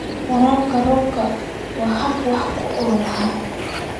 Waraabka roobka waa hab wax ku ool ah.